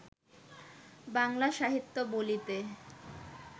বাংলা সাহিত্য বলিতে